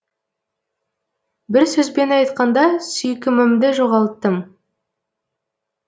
бір сөзбен айтқанда сүйкімімді жоғалттым